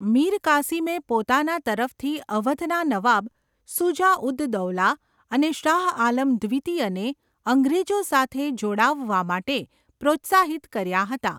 મીર કાસિમે પોતાના તરફથી અવધના નવાબ શુજા ઉદ દૌલા અને શાહઆલમ દ્વિતીયને અંગ્રેજો સાથે જોડાવવા માટે પ્રોત્સાહિત કર્યા હતા.